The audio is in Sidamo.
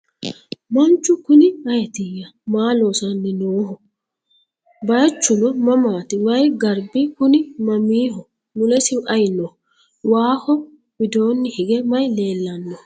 Manchu kunni ayiitiya? Maa loosanni noo? Bayiichchu mamaatti? Wayi garibbi kunni mamiho? Mulessi ayi no? Waaho widoonni hige mayi leellanno?